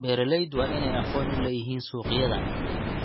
Beeraleydu waa inay aqoon u leeyihiin suuqyada.